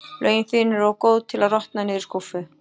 Lögin þín eru of góð til að rotna niðri í skúffu.